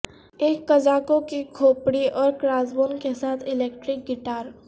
ایک قزاقوں کے کھوپڑی اور کراسبون کے ساتھ الیکٹرک گٹار